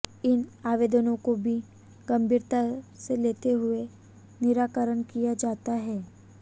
इन आवेदनों को भी गंभीरता से लेते हुए निराकरण किया जाता है